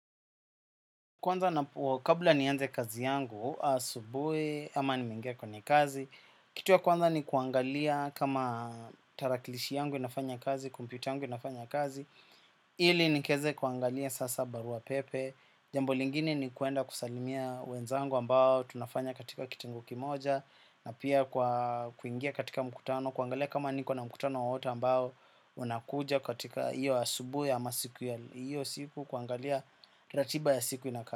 Kwanza na kabla nianze kazi yangu asubuhi ama nimeingia kwenye kazi. Kitu ya kwanza ni kuangalia kama tarakilishi yangu inafanya kazi, kumpyuta yangu inafanya kazi, ili nikaweze kuangalia sasa barua pepe. Jambo lingine ni kuenda kusalimia wenzangu ambao tunafanya katika kitengo kimoja. Na pia kwa kuingia katika mkutano, kuangalia kama niko na mkutano wowote ambao unakuja katika hio asubuhi amasiku ya hiyo siku kuangalia ratiba ya siku inakaa.